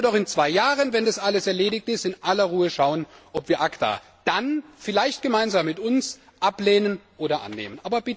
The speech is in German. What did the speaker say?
Und dann können wir in zwei Jahren, wenn das alles erledigt ist, in aller Ruhe schauen, ob Sie ACTA dann, vielleicht gemeinsam mit uns, ablehnen oder annehmen.